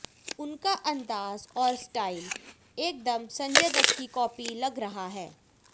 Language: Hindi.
उनका अंदाज और स्टाइल एकदम संजय दत्त की कॉपी लग रहा है